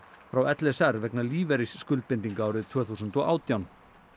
frá l s r vegna lífeyrisskuldbindinga árið tvö þúsund og átján